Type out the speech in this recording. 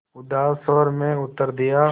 उदास स्वर में उत्तर दिया